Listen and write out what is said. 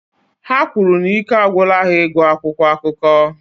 Ha kwuru na ike agwụla ha ịgụ akwụkwọ akụkọ